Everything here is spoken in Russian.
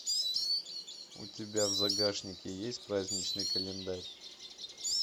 у тебя в загашнике есть праздничный календарь